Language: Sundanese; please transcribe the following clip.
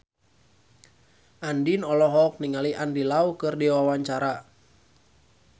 Andien olohok ningali Andy Lau keur diwawancara